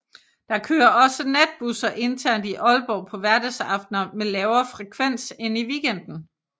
Der kører også natbusser internt i Aalborg på hverdagsaftener med lavere frekvens end i weekenden